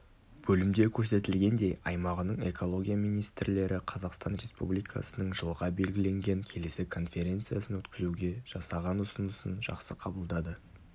бөлімде көрсетілгендей аймағының экология министрлері қазақстан республикасының жылға белгіленген келесі конференциясын өткізуге жасаған ұсынысын жақсы қабылдады